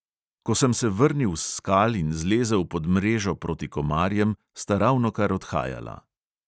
Ko sem se vrnil s skal in zlezel pod mrežo proti komarjem, sta ravnokar odhajala.